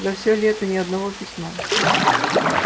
за всё лето ни одного письма